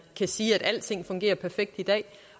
kan sige at alting fungerer perfekt i dag